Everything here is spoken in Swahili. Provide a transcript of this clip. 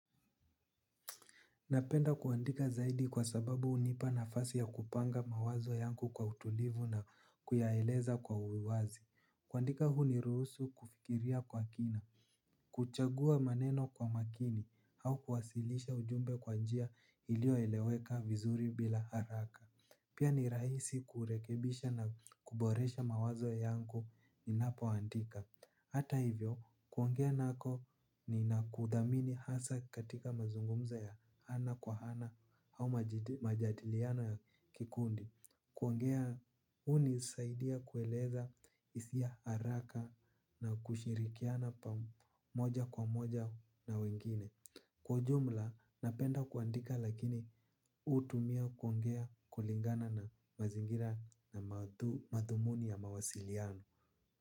Napenda kuandika zaidi kwa sababu hunipa nafasi ya kupanga mawazo yangu kwa utulivu na kuyaeleza kwa uwazi. Kuandika huniruhusu kufikiria kwa kina. Kuchagua maneno kwa makini au kuwasilisha ujumbe kwa njia iliyoeleweka vizuri bila haraka. Pia ni rahisi kurekebisha na kuboresha mawazo yangu ninapoandika. Hata hivyo, kuongea nako ninakudhamini hasa katika mazungumzo ya ana kwa ana au majadiliano ya kikundi. Kuongea, hunisaidia kueleza hisia haraka na kushirikiana pa moja kwa moja na wengine. Kwa ujumla napenda kuandika lakini hutumia kuongea kulingana na mazingira na mathumuni ya mawasiliano.